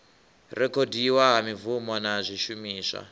rekhodiwa ha mibvumo na zwishumiswa